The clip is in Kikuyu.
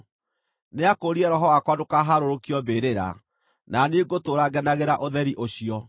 Nĩakũũrire roho wakwa ndũkaharũrũkio mbĩrĩra, na niĩ ngũtũũra ngenagĩra ũtheri ũcio.’